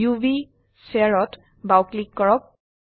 উভ স্ফিয়াৰ ত বাও ক্লিক কৰক